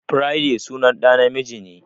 Friday sunan ɗa na miji ne.